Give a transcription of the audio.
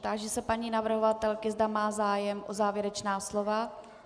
Táži se paní navrhovatelky, zda má zájem o závěrečná slova.